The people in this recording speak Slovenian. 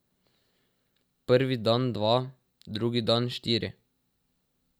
Prvi dan dva, drugi dan štiri.